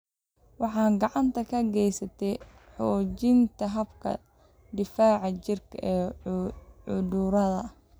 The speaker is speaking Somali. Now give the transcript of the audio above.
Waxay gacan ka geysataa xoojinta habka difaaca jirka ee cudurrada.